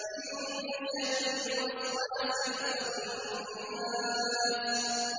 مِن شَرِّ الْوَسْوَاسِ الْخَنَّاسِ